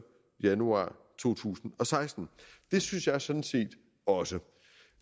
januar to tusind og seksten det synes jeg sådan set også